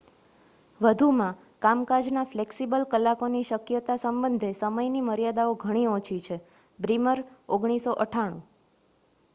વધુમાં કામકાજના ફ્લેક્સિબલ કલાકોની શક્યતા સંબંધે સમયની મર્યાદાઓ ઘણી ઓછી છે. બ્રીમર 1998